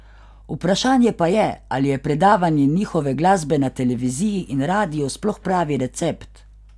Vprašanje pa je, ali je predvajanje njihove glasbe na televiziji in radiu sploh pravi recept.